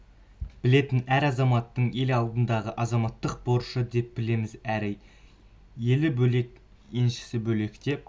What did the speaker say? білетін әр азаматтың ел алдындағы азаматтық борышы деп білеміз әрі елі бөлек еншісі бөлек деп